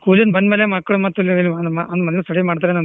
School ಇಂದ ಬಂದ್ ಮೇಲೆ ಮಕ್ಳು ಮತ್ತ್ ಅಲ್ಲೆ ಅಲ್ಲೆ study ಮಾಡ್ತಾರೇನ್ ಅಲ್ಲೆ .